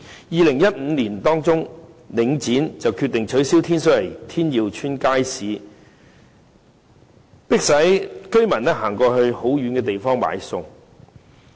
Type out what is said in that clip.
2015年年中，領展決定關閉天水圍天耀邨街市，迫使居民要走到很遠的地方買餸。